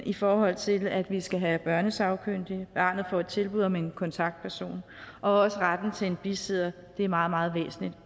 i forhold til at vi skal have børnesagkyndige at barnet får et tilbud om en kontaktperson og også retten til en bisidder det er meget meget væsentligt